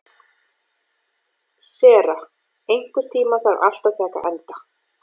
Sera, einhvern tímann þarf allt að taka enda.